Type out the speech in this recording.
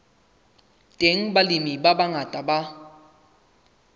teng balemi ba bangata ba